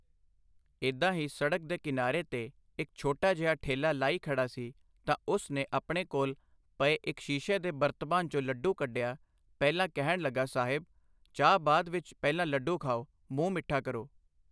ਏਦਾਂ ਹੀ ਸੜਕ ਦੇ ਕਿਨਾਰੇ ਤੇ ਇੱਕ ਛੋਟਾ ਜਿਹਾ ਠੇਲ੍ਹਾ ਲਾਈ ਖੜ੍ਹਾ ਸੀ ਤਾਂ ਉਸ ਨੇ ਆਪਣੇ ਕੋਲ਼ ਪਏ ਇੱਕ ਸ਼ੀਸ਼ੇ ਦੇ ਬਰਤਬਾਨ ਚੋਂ ਲੱਡੂ ਕੱਢਿਆ, ਪਹਿਲਾਂ ਕਹਿਣ ਲੱਗਾ ਸਾਹਿਬ, ਚਾਹ ਬਾਅਦ ਵਿੱਚ ਪਹਿਲਾਂ ਲੱਡੂ ਖਾਓ, ਮੂੰਹ ਮਿੱਠਾ ਕਰੋ।